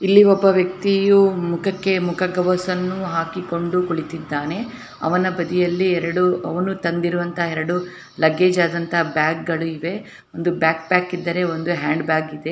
ಇಲ್ಲಿ ಒಬ್ಬ ವ್ಯಕ್ತಿಯು ಮುಖಕ್ಕೆ ಮುಖ ಕವಚವನ್ನು ಹಾಕಿ ಕೊಂಡು ಕೂತಿದಾನೆ. ಅವನ ಬದಿಯಲ್ಲಿ ಎರಡು ಅವನು ತಂದಿರುವಂತ ಎರಡು ಲಗೇಜ್ ಆದಂತಾ ಬ್ಯಾಗ್ ಗಳು ಇವೆ. ಒಂದು ಬ್ಯಾಕ್ಪ್ಯಾಕ್ ಇದ್ದಾರೆ ಒಂದು ಹ್ಯಾಂಡ್ಬ್ಯಾಗ್ ಇದೆ.